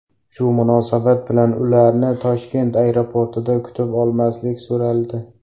Shu munosabat bilan ularni Toshkent aeroportida kutib olmaslik so‘raldi.